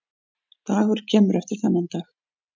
Dagur kemur eftir þennan dag.